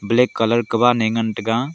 black colour kagan ne ngantaga.